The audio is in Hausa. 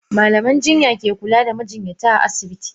Malaman jinya ke kula da majinyata a asibiti.